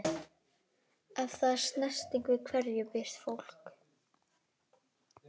Ef það er snerting- við hverju býst fólk?